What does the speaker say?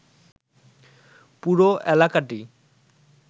পুরো এলাকাটি